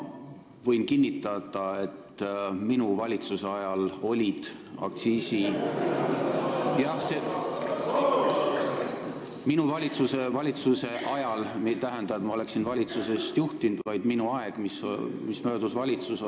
Võin kinnitada, et minu valitsuse ajal olid aktsiisid ... "Minu valitsuse ajal" ei tähenda, et ma oleksin valitsust juhtinud, vaid seda aega, kui ma olin valitsuses.